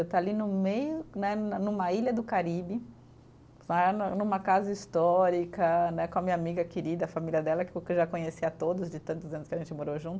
Eu estar ali no meio né, numa ilha do Caribe né, numa casa histórica né, com a minha amiga querida, a família dela, que eu já conhecia todos de tantos anos que a gente morou junto.